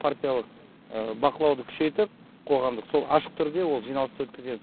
партиялық бақылауды күшейтіп қоғамдық сол ашық түрде ол жиналысты өткіземіз